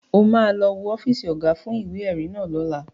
O ma lọ wo ọ́fíìsì Ọ̀gá fún ìwé-ẹ̀rí náà lọ́la